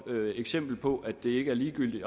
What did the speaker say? eksempel på at det ikke er ligegyldigt